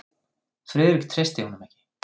Friðrik treysti honum ekki.